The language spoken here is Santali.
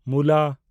ᱢᱩᱞᱟ